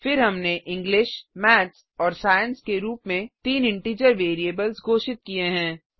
फिर हमने English maths और साइंस के रूप में तीन इंटिजर वेरिएबल्स घोषित किये हैं